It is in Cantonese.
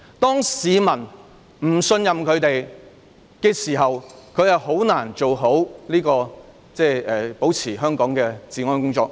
當市民不信任警方時，他們很難做好維持香港治安的工作。